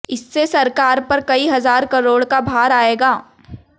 इससे सरकार पर कई हजार करोड़ का भार आएगा